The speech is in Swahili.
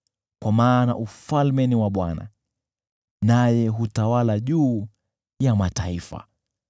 kwa maana ufalme ni wa Bwana naye hutawala juu ya mataifa.